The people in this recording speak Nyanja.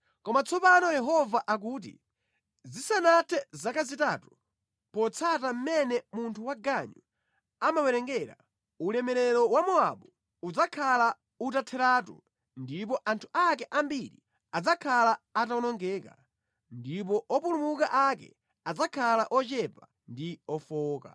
Koma tsopano Yehova akuti, “Zisanathe zaka zitatu, potsata mʼmene munthu waganyu amawerengera, ulemerero wa Mowabu udzakhala utatheratu ndipo anthu ake ambiri adzakhala atawonongeka, ndipo opulumuka ake adzakhala ochepa ndi ofowoka.”